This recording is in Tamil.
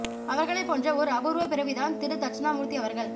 அவர்களைப் போன்ற ஒரு அபூர்வ பிறவி தான் திரு தட்சணாமூர்த்தி அவர்கள்